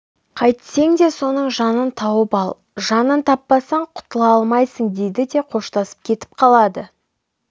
қайтсең де соның жанын тауып ал жанын таппасаң құтыла алмайсың дейді де қоштасып кетіп қалады